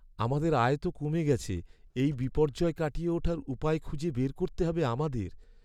আমাদের আয় তো কমে গেছে! এই বিপর্যয় কাটিয়ে ওঠার উপায় খুঁজে বের করতে হবে আমাদের।